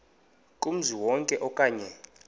kumzi wonke okanye